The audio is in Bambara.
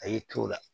A y'i t'o la